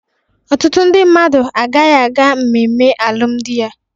Ọtụtụ ndị mmadu agaghị aga mmemme alụmdi ya.